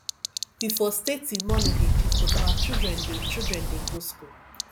we for stay till morning dey gist but our children dey children dey go school